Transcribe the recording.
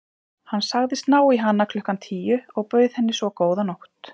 Hann sagðist ná í hana klukkan tíu og bauð henni svo góða nótt.